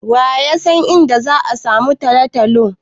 Wa ya san inda za'a samu Talatalo.